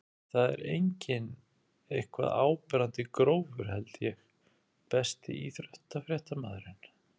það er engin eitthvað áberandi grófur held ég Besti íþróttafréttamaðurinn?